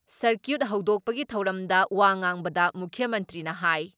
circuit ꯍꯧꯗꯣꯛꯄꯒꯤ ꯊꯧꯔꯝꯗ ꯋꯥ ꯉꯥꯡꯕꯗ ꯃꯨꯈ꯭ꯌ ꯃꯟꯇ꯭ꯔꯤꯅ ꯍꯥꯏ